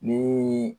Ni